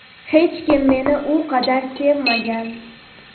Hech kim meni bu qadar sevmagan.